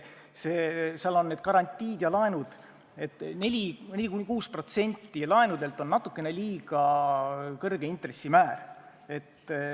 Seal on need garantiid ja laenud, aga 4–6% laenudelt on natukene liiga kõrge intressimäär.